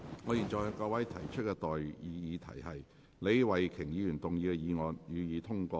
我現在向各位提出的待議議題是：李慧琼議員動議的議案，予以通過。